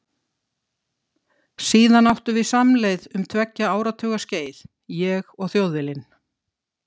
Síðar áttum við samleið um tveggja áratuga skeið, ég og Þjóðviljinn.